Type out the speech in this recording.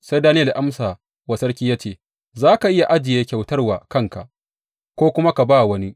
Sai Daniyel ya amsa wa sarki ya ce, Za ka iya ajiye kyautar wa kanka ko kuma ka ba wa wani.